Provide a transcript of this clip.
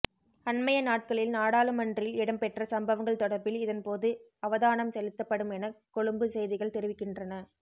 அண்மைய நாட்களில் நாடாளுமன்றில் இடம்பெற்ற சம்பவங்கள் தொடர்பில் இதன்போது அவதானம் செலுத்தப்படுமென கொழும்பு செய்திகள் தெரிவிக்கின்றன